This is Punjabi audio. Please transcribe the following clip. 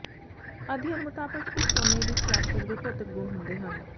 ਅਧਿਐਨ ਮੁਤਾਬਕ ਇਸ ਸੋਨੇ ਵਿਚ ਪਲਾਸਟਿਕ ਦੇ ਭੌਤਿਕ ਗੁਣ ਹੁੰਦੇ ਹਨ